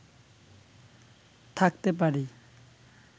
থাকতে পারি